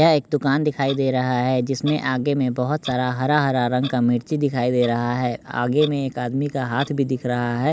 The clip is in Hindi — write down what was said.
यह एक दुकान दिखाई दे रहा है जिसमें आगे में बहुत सारा हरा-हरा रंग का मिर्ची दिखाई दे रहा है आगे में एक आदमी का हाथ भी दिख रहा है।